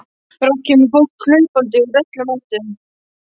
Brátt kemur fólk hlaupandi að úr öllum áttum.